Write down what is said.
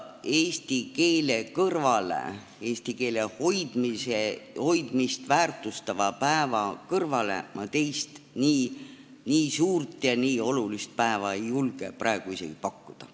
Eesti keelt, eesti keele hoidmist väärtustava päeva kõrvale ma teist nii suurt ja nii olulist päeva ei julge praegu isegi pakkuda.